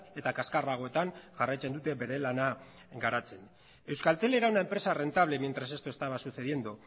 eta kaskarragoetan jarraitzen dute bere lana garatzen euskaltel era una empresa rentable mientras esto estaba sucediendo